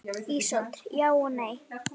Ísold: Já og nei.